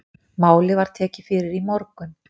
Málið var tekið fyrir í morgun